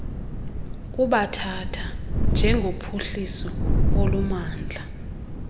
kubathatha njengophuhliso olumandla